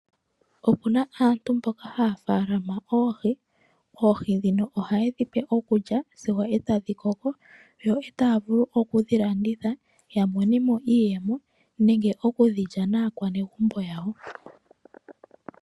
Opuna aantu mboka haya munu oohi . Oohi ndhino ohaye dhi pe iikulya sigo eta dhi koko. Yo etaya vulu oku dhi landitha ya monemo iiyemo . Nenge oku dhi lya naakwanegumbo yawo.